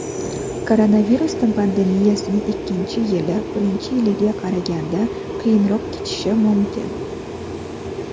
Koronavirus pandemiyasining ikkinchi yili birinchi yiliga qaraganda qiyinroq kechishi mumkin.